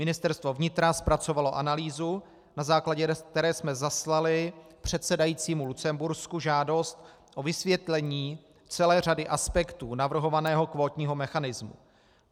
Ministerstvo vnitra zpracovalo analýzu, na základě které jsme zaslali předsedajícímu Lucembursku žádost o vysvětlení celé řady aspektů navrhovaného kvótního mechanismu.